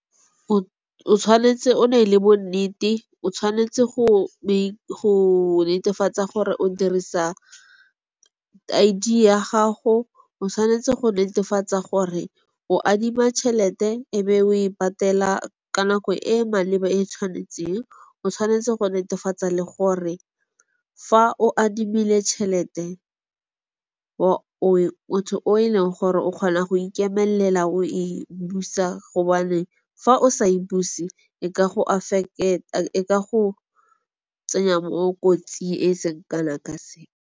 O tshwanetse o ne le bonnete, o tshwanetse go netefatsa gore o dirisa I_D ya gago. O tshwanetse go netefatsa gore o adima tšhelete e be o e patela ka nako e e maleba e tshwanetseng. O tshwanetse go netefatsa le gore fa o adimile tšhelete motho o e leng gore o kgona go ikemelela o e busa gonne fa o sa e buse e ka go tsenya mo kotsing e seng kana ka sepe.